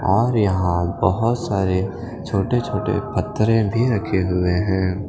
और यहाँ बोहोत सारे छोटे छोटे पत्थरें भी रखे हुए हैं।